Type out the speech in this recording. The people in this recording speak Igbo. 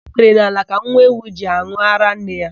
Ikpere n'ala ka nwa ewu ji an̄ụ árá nne ya.